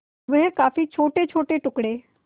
वह काफी छोटेछोटे टुकड़े